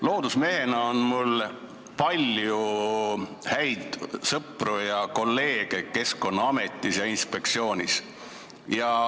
Loodusmehena on mul palju häid sõpru ja kolleege Keskkonnaametis ja Keskkonnainspektsioonis.